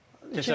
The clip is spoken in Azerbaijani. Keçə bilməzdi.